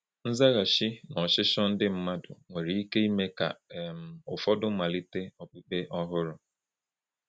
Nzaghachi n’ọchịchọ ndị mmadụ nwere ike ime ka um ụfọdụ malite okpukpe ọhụrụ.